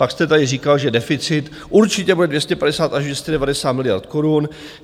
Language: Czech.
Pak jste tady říkal, že deficit určitě bude 250 až 290 miliard korun.